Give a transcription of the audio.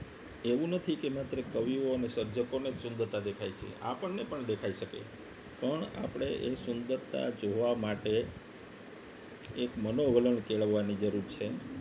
એવું નથી કે માત્ર કવિઓ અને સર્જકોને સુંદરતા દેખાય છે આપણને પણ દેખાઈ શકે પણ આપણે એ સુંદરતા જોવા માટે એક મનોવલણ કેળવવાની જરૂર છે